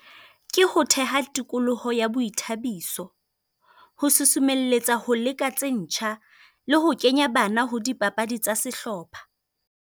Ke ho theha tikoloho ya boithabiso, ho sosomelletsa ho leka tse ntjha, le ho kenya bana ho dipapadi tsa sehlopha.